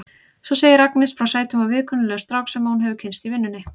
Svo segir Agnes frá sætum og viðkunnanlegum strák sem hún hefur kynnst í vinnunni.